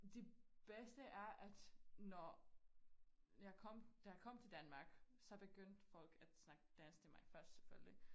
Det bedste er at når jeg kom da jeg kom til Danmark så begyndte folk at snakke dansk til mig først selvfølgelig